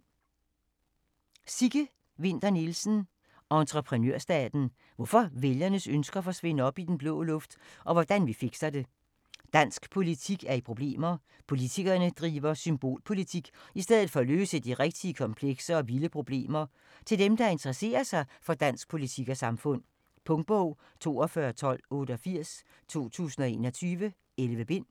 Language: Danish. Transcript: Winther Nielsen, Sigge: Entreprenørstaten: hvorfor vælgernes ønsker forsvinder op i den blå luft - og hvordan vi fikser det Dansk politik er i problemer - politikerne driver symbolpolitik i stedet for at løse de rigtige, komplekse og vilde problemer. Til dem, der interesserer sig for dansk politik og samfund. Punktbog 421288 2021. 11 bind.